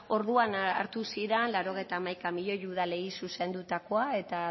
orduan hartu ziren laurogeita hamaika milioi udalei zuzendutakoa eta